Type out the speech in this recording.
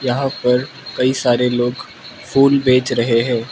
यहां पर कई सारे लोग फूल बेच रहे हैं।